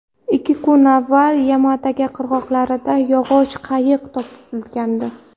Ikki kun avval Yamagata qirg‘oqlarida yog‘och qayiq topilgandi.